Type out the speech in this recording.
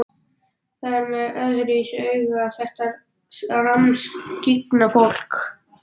Það er með öðruvísi augu, þetta rammskyggna fólk.